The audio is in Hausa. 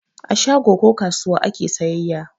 A shago ko kasuwa ake sayayya.